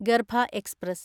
ഗർഭ express